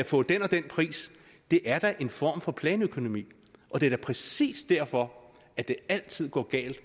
få den og den pris det er da en form for planøkonomi og det er da præcis derfor at det altid går galt